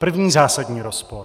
První zásadní rozpor.